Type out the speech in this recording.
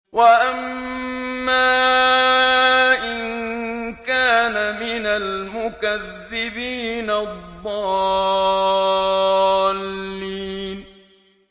وَأَمَّا إِن كَانَ مِنَ الْمُكَذِّبِينَ الضَّالِّينَ